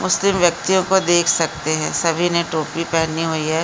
मुस्लिम व्यक्तिओ को देख सकते है सभी ने टोपी पहनी हुई है।